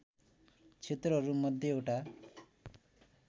क्षेत्रहरू मध्य एउटा